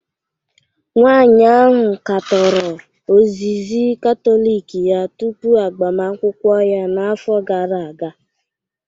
Nwanyị ahụ katọrọ ozizi Katọlik ya tupu agbamakwụkwọ ya n'afọ gara aga